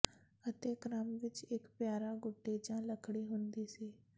ਅਤੇ ਕ੍ਰਮ ਵਿੱਚ ਇੱਕ ਪਿਆਰਾ ਗੁੱਡੀ ਜਾਂ ਲੱਕੜੀ ਹੁੰਦੀ ਸੀ